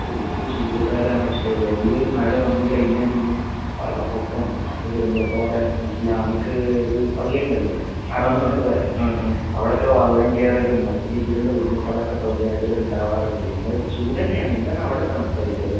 ശെരിക്കിത് ചൂട് കാലാണ് പക്ഷെ എടീല് ഒരു മഴ വന്ന് കഴിഞ്ഞപിഞ്ഞേ വള്ള പൊക്കോം മറ്റ് ദുരന്തകകൂടെ ഇസ്‍ലാമിക്ഒരുപള്ളി ണ്ടല്ലോ ഹറം ന്നൊക്കെ പറേണെ അവിടൊക്കെ വള്ളം കേറലും മറ്റു രീതീലുള്ള ബുദ്ധിമുട്ടാളൊക്കെ സൗദി അറബില് ണ്ടാവാറിണ്ട് എന്നാലും ചൂടെഞ്ഞെണ് എന്താണ് അവടെ തണുപ്പരികുവല്ലേ